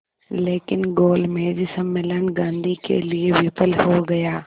लेकिन गोलमेज सम्मेलन गांधी के लिए विफल हो गया